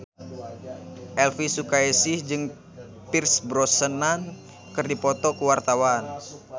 Elvy Sukaesih jeung Pierce Brosnan keur dipoto ku wartawan